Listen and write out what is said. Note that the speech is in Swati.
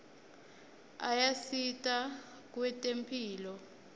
ayasita kwetemphilo